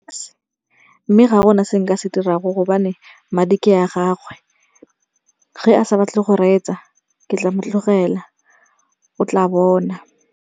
Mme ga gona se nka se dira go gobane madi ke a gagwe. Ge a sa batle go reetsa ke tla mo tlogela o tla bona.